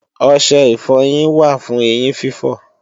Ọṣẹ ìfọyín wà fún eyín fífọ̀